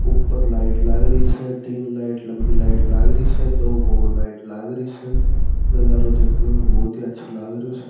ऊपर लाइट लागरी स तीन लाइट लम्बी लाइट लागरी स दो गोल लाइट लागरी स नजरो देखने में बहुत ही अच्छा लागरिओ स।